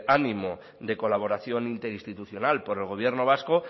ánimo de colaboración interinstitucional por el gobierno vasco